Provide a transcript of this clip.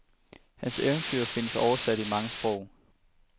Hans eventyr findes oversat i mange sprog.